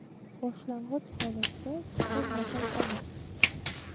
Boshlang‘ich holatda chuqur nafas olish.